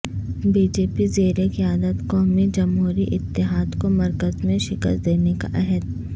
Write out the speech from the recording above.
be J P زیرقیادت قومی جمہوری اتحاد کو مرکز میں شکست دینے کا عہد